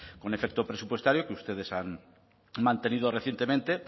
con efecto presupuestario que ustedes han mantenido recientemente